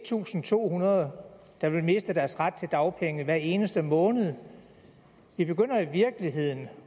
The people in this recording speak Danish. tusind to hundrede der vil miste deres ret til dagpenge hver eneste måned vi begynder i virkeligheden